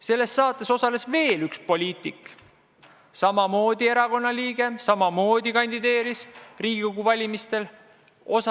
Selles saates osales veel üks poliitik, samamoodi ühe erakonna liige, kes samuti kandideeris Riigikogu valimistel.